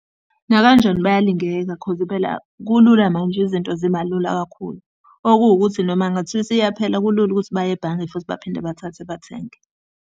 Nakanjani bayalingeka coz phela kulula manje izinto ziba lula kakhulu. Okuwukuthi noma kungathiwa isiyaphela kulula ukuthi baye ebhange futhi baphinde bathathe bathenge.